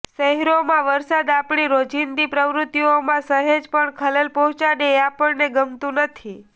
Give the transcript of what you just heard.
શહેરોમાં વરસાદ આપણી રોજિંદી પ્રવૃત્તિઓમાં સહેજ પણ ખલેલ પહોંચાડે એ આપણને ગમતું નથી